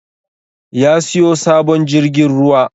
Ya siyo sabon jirgin ruwa